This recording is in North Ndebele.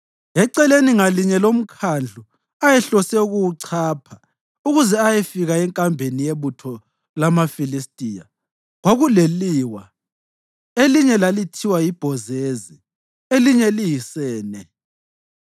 Eceleni ngalinye lomkhandlu ayehlose ukuwuchapha ukuze ayefika enkambeni yebutho lamaFilistiya kwakuleliwa; elinye lalithiwa yiBhozezi elinye liyiSene.